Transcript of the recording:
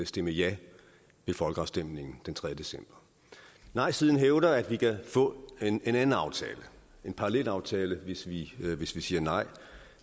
stemme ja ved folkeafstemningen den tredje december nejsiden hævder at vi kan få en anden aftale en parallelaftale hvis vi hvis vi siger nej